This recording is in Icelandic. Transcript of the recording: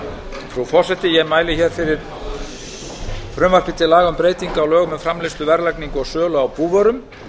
frú forseti ég mæli fyrir frumvarpi til laga um breytingu á lögum um framleiðslu verðlagningu og sölu á búvörum